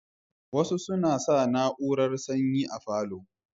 Wasu suna sa na urar sanyi a falo